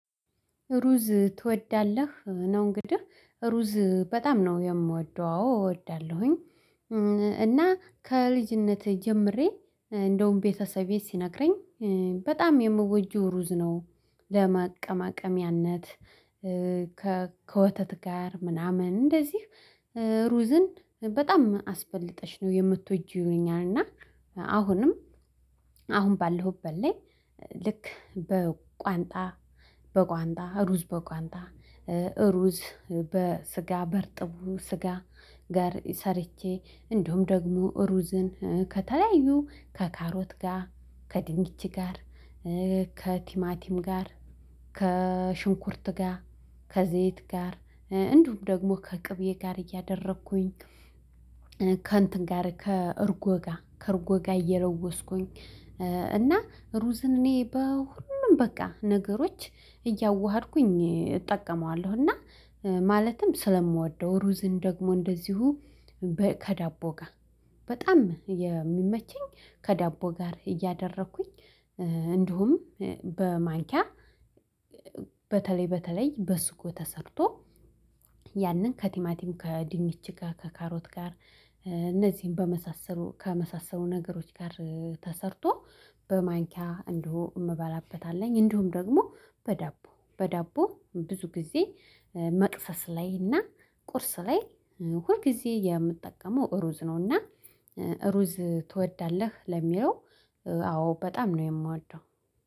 ሩዝ ትወዳለህ ነው እንግዲህ ሩዝ በጣም ነው የምወደው አዎ እወዳለሁኝ። አና ከልጅነቴ ጀምሬ እንደውም ቤተሰቤ ሲነግረኝ በጣም የምወጂው ሩዝ ነው ለማቀማቀሚያነት ከ ከወተት ጋር ምናምን እንደዚህ ሩዝን በጣም አስበልጠሽ ነው የምትወጂው ይሆኛል እና አሁንም አሁን ባለሁበት ላይ ልክ በቋንጣ በቋንጣ ሩዝ በቋንጣ ሩዝ በስጋ በርጥቡ ስጋ ጋር ሰርቼ እንዲሁም ደግሞ ሩዝን ከተለያዩ ከካሮት ጋር ከድንች ጋር ከ ቲማ ጋር ከሽንኩርት ጋር ከዘይት ጋር እንዲሁም ደግሞ ከቅቤ ጋር እያደረኩኝ ከእንትን ጋር ከእርጎ ጋር ከእርጎ ጋ እየለወስኩኝ እና ሩዝን እኔ በሁሉም በቃ ነገሮች እያዋሀድኩኝ እጠቀመዋለሁ እና ማለትም ስለምወደው ሩዝን ደግሞ እንደዚሁ ከዳቦ ጋር በጣም የሚመቸኝ ከዳቦ ጋር እያደረኩኝ እንዲሁም በማንኪያ በተለይ በተለይ በሱጎ ተሰርቶ ያንን ከቲማቲም ከድንች ከካሮት ጋር እነዚህን በመሳሰሉ ከመሳሰሉ ነገሮች ጋር ተሰርቶ በማንኪያ እንደው የምበላበት አለኝ እንደውም ደግሞ በዳቦ በዳቦ ብዙ ጊዜ መቅሰስ ላይ እና ቁርስ ላይ ሁል ጊዜ የምትጠቀመው ሩዝ ነው ነው። አና እሩዝ ትወዳለህ ለሚለው አዎ በጣም ነው የምወደው።